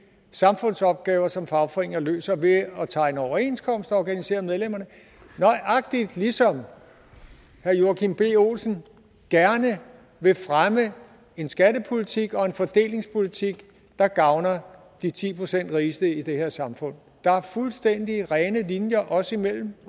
samfundsopgaver som fagforeninger løser ved at tegne overenskomster og organisere medlemmerne nøjagtig ligesom herre joachim b olsen gerne vil fremme en skattepolitik og en fordelingspolitik der gavner de ti procent rigeste i det her samfund der er fuldstændig rene linjer os imellem